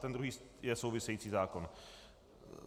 Ten druhý je související zákon.